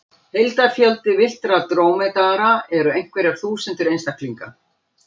Heildarfjöldi villtra drómedara eru einhverjar þúsundir einstaklinga.